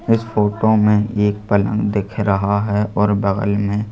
इस फोटो में एक पलंग दिख रहा है और बगल में--